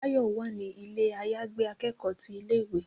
Báyọ̀ wà ní ilé àyàgbé akẹ́kọ̀ọ́ ti ilé ìwé.